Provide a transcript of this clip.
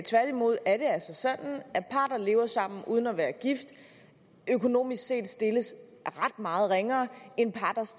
tværtimod er det altså sådan at par der lever sammen uden at være gift økonomisk set stilles ret meget ringere